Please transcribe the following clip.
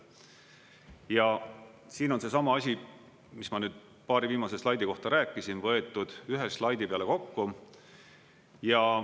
Ja siin on seesama asi, mis ma nüüd paari viimase slaidi kohta rääkisin, võetud ühe slaidi peale kokku.